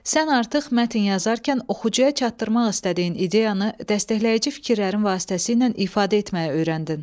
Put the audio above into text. Sən artıq mətn yazarkən oxucuya çatdırmaq istədiyin ideyanı dəstəkləyici fikirlərin vasitəsi ilə ifadə etməyi öyrəndin.